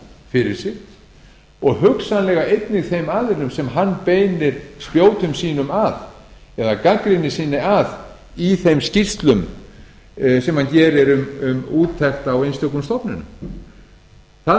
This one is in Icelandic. fyrir sig og hugsanlega einnig þeim aðilum sem hann beinir spjótum sínum að eða gagnrýni sinni að í þeim skýrslum sem hér er um úttekt á einstökum stofnunum það yrði